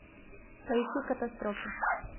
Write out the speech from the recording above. поищи катастрофу